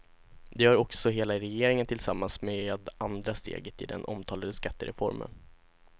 Det gör också hela regeringen tillsammans med andra steget i den omtalade skattereformen.